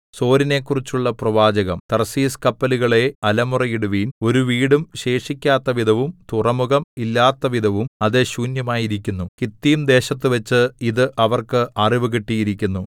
സോരിനെക്കുറിച്ചുള്ള പ്രവാചകം തർശീശ് കപ്പലുകളേ അലമുറയിടുവിൻ ഒരു വീടും ശേഷിക്കാത്തവിധവും തുറമുഖം ഇല്ലാത്തവിധവും അത് ശൂന്യമായിരിക്കുന്നു കിത്തീംദേശത്തുവച്ച് ഇതു അവർക്ക് അറിവു കിട്ടിയിരിക്കുന്നു